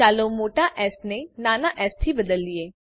ચાલો મોટા એસ ને નાના એસ થી બદલીએ